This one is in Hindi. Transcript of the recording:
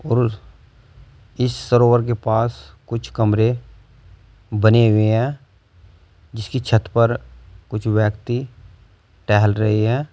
और उस इस सरोवर के पास कुछ कमरे बने हुए हैं जिसकी छत पर कुछ व्यक्ति टहल रहे हैं।